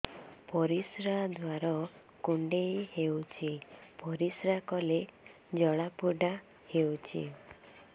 ପରିଶ୍ରା ଦ୍ୱାର କୁଣ୍ଡେଇ ହେଉଚି ପରିଶ୍ରା କଲେ ଜଳାପୋଡା ହେଉଛି